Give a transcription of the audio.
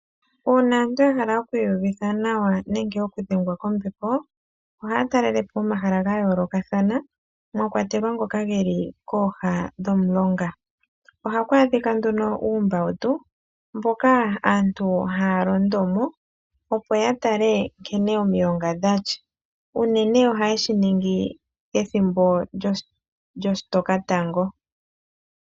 Uuna aantu yahala okwiiyuvitha nawa nenge oku dhengwa kombepo, ohaya talele po omahala gayoolokathana mwa kwatelwa ngoka geli kooha dhomulonga. Ohaku adhika uumbautu moka aantu haya londo mo opo ya tale nkene omilonga dha tya. Unene ohaye shi ningi ethimbo lyoshitokatango.